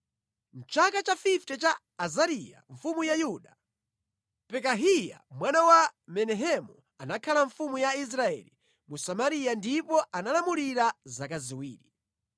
Mʼchaka cha makumi asanu a Azariya mfumu ya Yuda, Pekahiya mwana wa Menahemu anakhala mfumu ya Israeli mu Samariya ndipo analamulira zaka ziwiri.